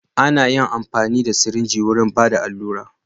Ana yin amfani da sirinji wajen Bada alura.